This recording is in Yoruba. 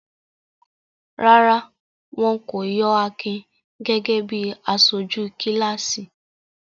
Rárá, wọn kò yọ Akin gẹ́gẹ́ bí aṣojú kíláàsì.